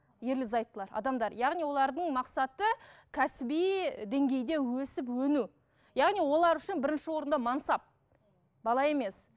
ерлі зайыптылар адамдар яғни олардың мақсаты кәсіби деңгейде өсіп өну яғни олар үшін бірінші орында мансап бала емес